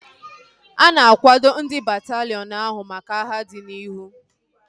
A na-akwado ndị bataliiọn ahu maka agha dị n'ihu